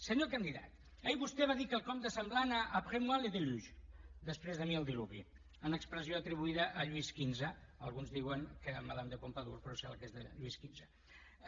senyor candidat ahir vostè va dir quelcom de semblant a après moi le déluge després de mi el diluvi en expressió atribuïda a lluís xv alguns diuen que madame de pompadour però em sembla que és de lluís xv